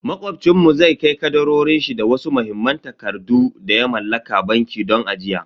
Macobcin mu zai kai kadarorin shi da wasu muhimman takardu da ya mallaka banki don ajiya.